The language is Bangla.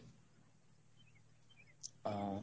আহ.